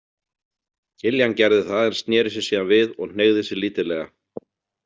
Kiljan gerði það en sneri sér síðan við og hneigði sig lítillega.